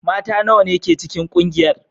Mata nawa ne ke cikin kungiyar?